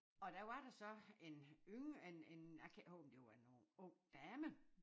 Og der var der så en yngre en en jeg kan ikke huske om det var en ung ung dame